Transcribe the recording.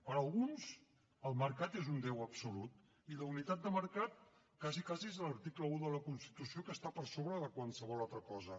per alguns el mercat és un déu absolut i la unitat de mercat quasi quasi és l’article un de la constitució que està per sobre de qualsevol altra cosa